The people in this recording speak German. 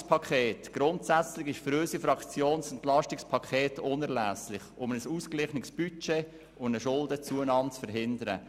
: Dieses ist für unsere Fraktion grundsätzlich unerlässlich, um ein ausgeglichenes Budget zu ermöglichen und eine Schuldenzunahme zu verhindern.